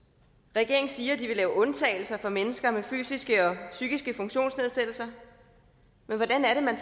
regeringen siger de vil lave undtagelser for mennesker med fysiske og psykiske funktionsnedsættelser men hvordan er det man